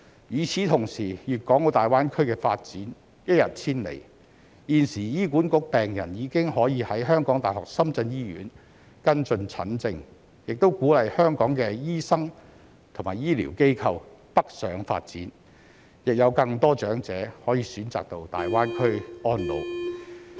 與此同時，粵港澳大灣區的發展一日千里，現時醫管局病人已可以在香港大學深圳醫院跟進診症，亦鼓勵香港的醫生和醫療機構北上發展，亦有更多長者可能選擇到大灣區安老。